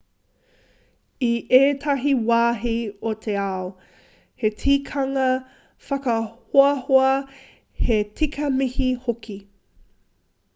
i ētahi wāhi o te ao he tikanga whakahoahoa he tika mihi hoki